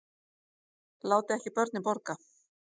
Láti ekki börnin borga